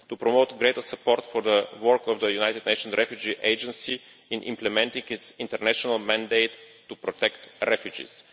to promote greater support for the work of the United Nations Refugee Agency in implementing its international mandate to protect refugees